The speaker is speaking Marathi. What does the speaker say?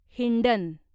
हिंडन